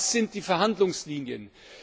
tut. Was sind die Verhandlungslinien?